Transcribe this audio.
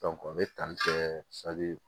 o bɛ tali kɛ